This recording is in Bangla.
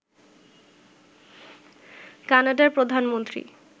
কানাডার প্রধানমন্ত্রী